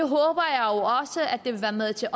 vil være med til